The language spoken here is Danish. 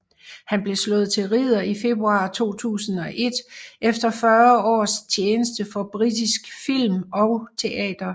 Han blev slået til ridder i februar 2001 efter fyrre års tjeneste for britisk film og teater